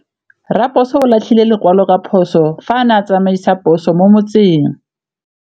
Raposo o latlhie lekwalô ka phosô fa a ne a tsamaisa poso mo motseng.